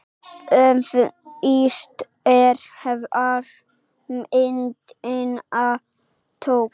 Óvíst er, hver myndina tók.